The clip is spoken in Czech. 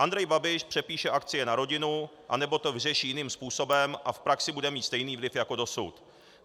Andrej Babiš přepíše akcie na rodinu anebo to vyřeší jiným způsobem a v praxi bude mít stejný vliv jako dosud.